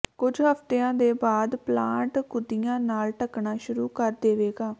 ਕੁੱਝ ਹਫ਼ਤਿਆਂ ਦੇ ਬਾਅਦ ਪਲਾਂਟ ਕੁੱਦੀਆਂ ਨਾਲ ਢੱਕਣਾ ਸ਼ੁਰੂ ਕਰ ਦੇਵੇਗਾ